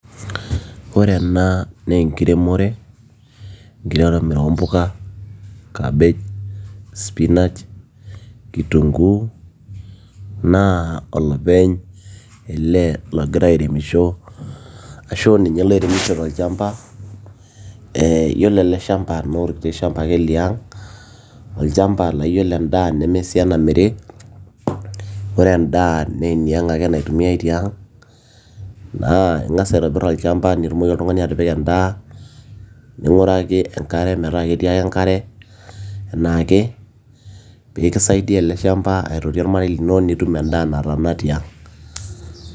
Ore ena naa enkiremore, enkiremore oompuka cabbage, spinach, kitunguu naa olopeny ele ogira airemisho arashu aa ninye oiremisho tolchamba, ee yiolo ele shamba naa orkiti shamba ake liang', olchamba laa yiolo endaa nemesii enamiri ore endaa naa eniang' ake naitumiyai tiang' naa ing'as aitobirr olchamba nitumoki oltung'ani atipika endaa ning'uraki enkare metaa ketii ake enkare enaake pee kisaidia ele shamba aitoti ormarei lino nitum endaa nataana tiang'.